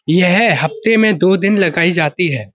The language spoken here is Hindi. यह हप्ते में दो दिन लगायी जाती है।